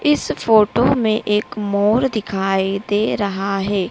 इस फोटो में एक मोर दिखाई दे रहा है।